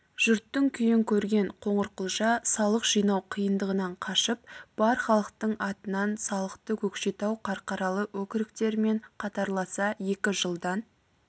жұрттың күйін көрген қоңырқұлжа салық жинау қиындығынан қашып бар халықтың атынан салықты көкшетау қарқаралы өкіріктерімен қатарласа екі жылдан